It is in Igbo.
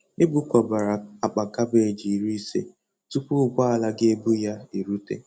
E bukọbara akpa kabeji iri ise tupu ụgbọala ga-ebu ya erute.